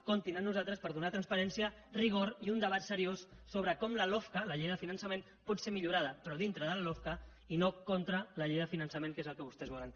comptin amb nosaltres per donar transparència rigor i un debat seriós sobre com la lofca la llei de finançament pot ser millo·rada però dintre de la lofca i no contra la llei de finançament que és el que vostès volen